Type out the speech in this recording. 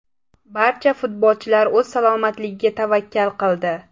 Barcha futbolchilar o‘z salomatligiga tavakkal qildi.